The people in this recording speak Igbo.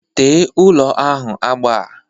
Tee ụlọ ahụ ugbu a.